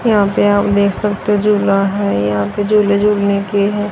यहां पे आप देख सकते हो झूला है यहां पे झूले झूलने के हैं।